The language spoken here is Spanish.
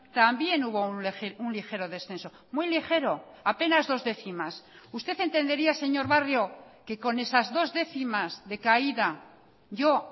también hubo un ligero descenso muy ligero apenas dos décimas usted entendería señor barrio que con esas dos décimas de caída yo